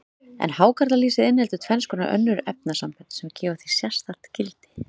En hákarlalýsið inniheldur tvenns konar önnur efnasambönd, sem gefa því sérstakt gildi.